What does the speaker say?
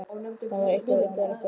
Það var eitthvað undarlegt á seyði.